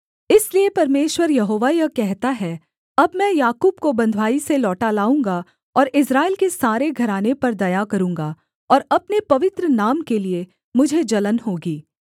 इसलिए परमेश्वर यहोवा यह कहता है अब मैं याकूब को बँधुआई से लौटा लाऊँगा और इस्राएल के सारे घराने पर दया करूँगा और अपने पवित्र नाम के लिये मुझे जलन होगी